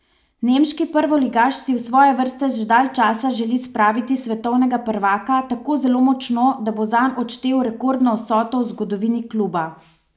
Nemški prvoligaš si v svoje vrste že dalj časa želi spraviti svetovnega prvaka, tako zelo močno, da bo zanj odštel rekordno vsoto v zgodovini kluba.